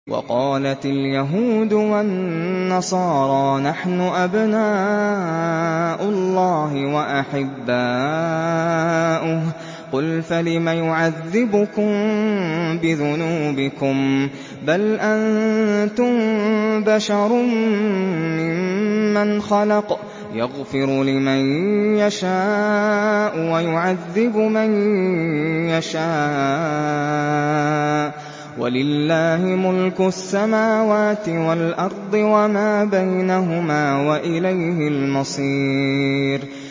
وَقَالَتِ الْيَهُودُ وَالنَّصَارَىٰ نَحْنُ أَبْنَاءُ اللَّهِ وَأَحِبَّاؤُهُ ۚ قُلْ فَلِمَ يُعَذِّبُكُم بِذُنُوبِكُم ۖ بَلْ أَنتُم بَشَرٌ مِّمَّنْ خَلَقَ ۚ يَغْفِرُ لِمَن يَشَاءُ وَيُعَذِّبُ مَن يَشَاءُ ۚ وَلِلَّهِ مُلْكُ السَّمَاوَاتِ وَالْأَرْضِ وَمَا بَيْنَهُمَا ۖ وَإِلَيْهِ الْمَصِيرُ